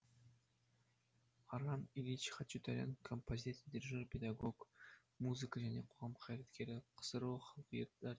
арам ильич хачатурян композитор дирижер педагог музыка және қоғам қайраткері ксро халық әртісі